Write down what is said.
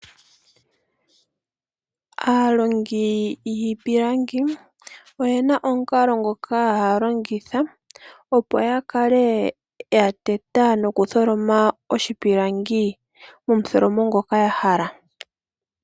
Aalongi yiipilangi oye na omukalo ngoka haya longitha opo ya kale ya teta nokutholoma oshipilangi momutholomo ngoka ya hala.